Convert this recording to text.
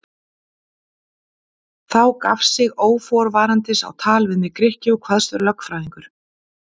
Þá gaf sig óforvarandis á tal við mig Grikki og kvaðst vera lögfræðingur.